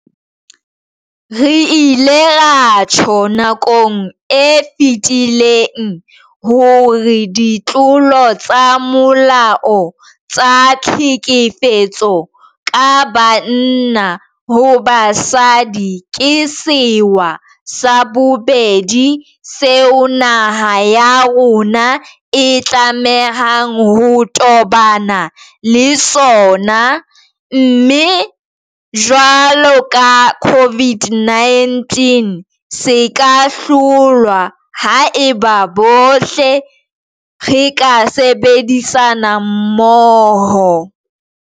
Re ile ra tjho nakong e fetileng hore ditlolo tsa molao tsa tlhekefetso ka banna ho basadi ke sewa sa bobedi seo naha ya rona e tlamehang ho tobana le sona, mme jwalo ka COVID-19 se ka hlolwa haeba bohle re ka sebedisana mmoho.